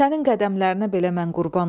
Sənin qədəmlərinə belə mən qurban olum.